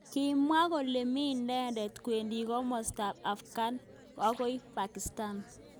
Kimwa kole mi inendet kwendi kimosta ab Afghan akoi Pakistan.